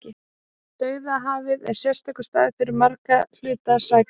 Dauðahafið er sérstakur staður fyrir margra hluta sakir.